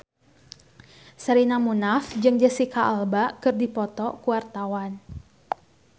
Sherina Munaf jeung Jesicca Alba keur dipoto ku wartawan